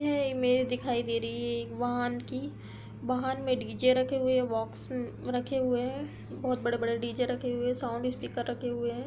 यह इमेज दिखाई दे रही है एक वाहन की वाहन में डी जे रखे हुए हैं बॉक्स रखे हुए है। बहोत बड़े-बड़े डीजे रखे हुए है साउंड स्पीकर रखे हुए हैं।